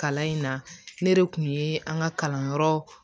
Kalan in na ne de kun ye an ka kalanyɔrɔ